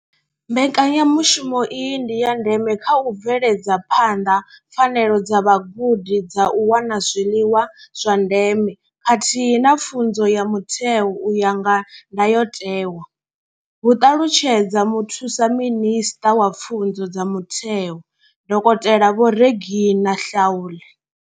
Mbekanyamushumo iyi ndi ya ndeme kha u bveledza phanḓa pfanelo dza vhagudi dza u wana zwiḽiwa zwa ndeme khathihi na pfunzo ya mutheo u ya nga ndayotewa, hu ṱalutshedza Muthusa minisṱa wa pfunzo dza mutheo, dokotela Vho Reginah Mhaule.